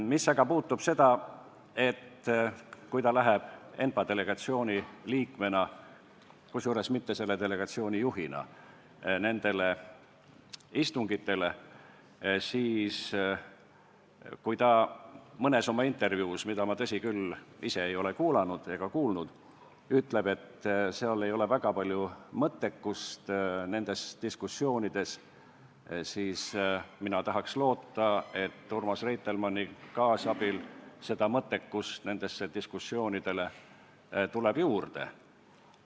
Mis aga puutub sellesse, et kui ta läheb ENPA delegatsiooni liikmena – kusjuures mitte selle delegatsiooni juhina – nendele istungitele ja kui ta mõnes oma intervjuus on öelnud, et nendes diskussioonides ei ole väga palju mõttekust, siis mina tahaks loota, et Urmas Reitelmanni kaasabil tuleb mõttekust nendesse diskussioonidesse juurde.